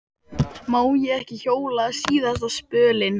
Má ég ekki hjóla síðasta spölinn?